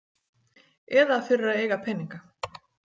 Eða fyrir að eiga peninga.